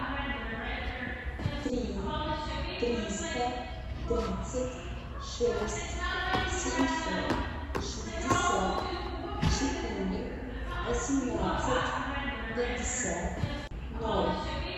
три триста тридцать шесть семьсот шестьдесят четыре восемнадцать пятьдесят ноль